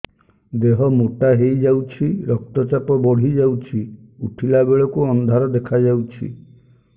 ଦେହ ମୋଟା ହେଇଯାଉଛି ରକ୍ତ ଚାପ ବଢ଼ି ଯାଉଛି ଉଠିଲା ବେଳକୁ ଅନ୍ଧାର ଦେଖା ଯାଉଛି